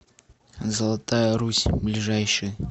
золотая русь ближайший